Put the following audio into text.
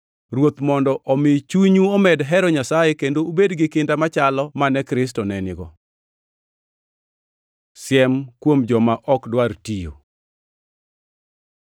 Ruoth mondo omi chunyu omed hero Nyasaye kendo ubed gi kinda machalo mane Kristo ne gigo. Siem kuom joma ok dwar tiyo